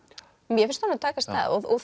mér finnst honum takast það og